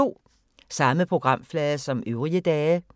Samme programflade som øvrige dage